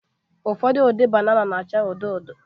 Ụfọdụ ụdị banana na-acha odo odo